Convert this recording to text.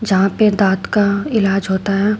यहां पे दांत का इलाज होता है।